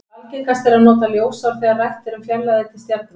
Algengast er að nota ljósár þegar rætt er um fjarlægðir til stjarna.